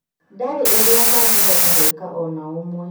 Ndarĩ ũndũ atangĩhota gwĩka o na ũmwe